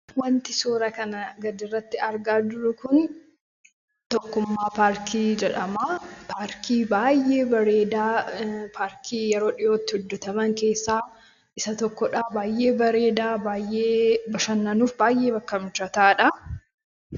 Wanti suuraa kanaa gadiirratti argaa jirru kun paarkii tokkummaa jedhama. Paarkii baay'ee bareedaa paarkii yeroo dhiyootti hojjataman keessaa isa tokkodha baay'ee bareeda bashannanuuf baay'ee bakka mijataadha.